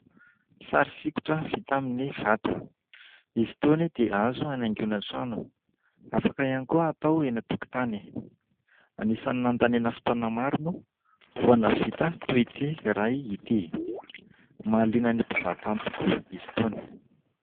Sary sokitra vita amin'ny vato, izy itony dia azo anaingoana trano, afaka ihany koa atao eny an-tokotany. Anisany nandaniana fotoana maro moa vao nahavita toy ity iray ity. Mahaliana ny mpizahatany tokoa izy itony.